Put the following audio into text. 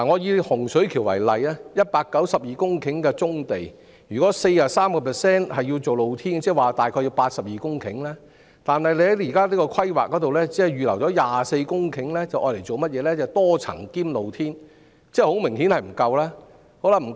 以洪水橋為例 ，192 公頃棕地的 43% 若用作露天營運，即大約涉及82公頃土地，但當局現時的規劃只預留了24公頃土地作多層及"露天貯物"用途，明顯並不足夠。